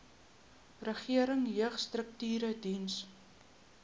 regering jeugstrukture dien